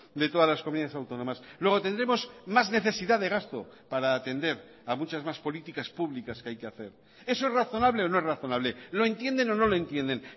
de todas las comunidades autónomas luego tendremos más necesidad de gasto para atender a muchas más políticas públicas que hay que hacer eso es razonable o no es razonable lo entienden o no lo entienden